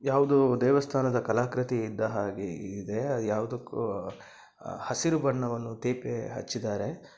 ಯಾವುದೊ ದೇವಸ್ಥಾನದ ಕಲಾಕೃತಿ ಇದ್ದ ಹಾಗೆ ಇದೆ. ಯಾವೂದೋಕ್ಕೋ ಹ-ಹಸಿರು ಬಣ್ಣವನ್ನು ತೇಪೆ ಹಚ್ಚಿದ್ದಾರೆ.